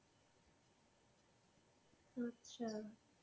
আচ্ছা,